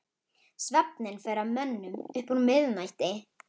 Svefninn fer að mönnum upp úr miðnætti.